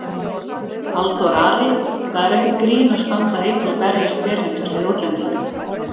Halldór Ari: Það er ekkert grín að standa einn og berjast berhentur við útlendinga